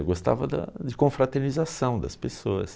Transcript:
Eu gostava da... de confraternização das pessoas.